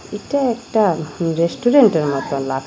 এটা একটা রেস্টুরেন্টের মতন লাগ--